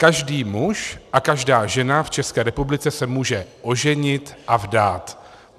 Každý muž a každá žena v České republice se může oženit a vdát.